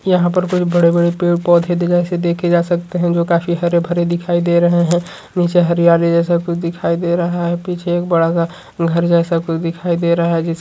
यहाँ पर कुछ बड़े से पैड पौधे देखे जा सकते हैं जो काफी हरे-भरे दिखाई दे रहे हैं नीचे हरियाली जैसा कुछ दिखाई दे रहा है पीछे एक बड़ा सा घर जैसा कुछ दिखाई दे रहा है जिस --